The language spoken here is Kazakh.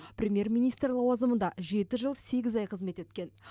премьер министр лауазымында жеті жыл сегіз ай қызмет еткен